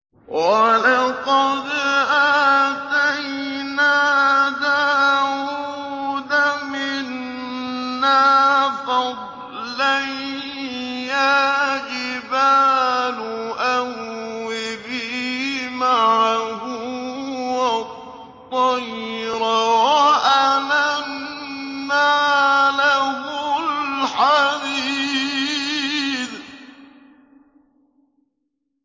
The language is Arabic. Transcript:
۞ وَلَقَدْ آتَيْنَا دَاوُودَ مِنَّا فَضْلًا ۖ يَا جِبَالُ أَوِّبِي مَعَهُ وَالطَّيْرَ ۖ وَأَلَنَّا لَهُ الْحَدِيدَ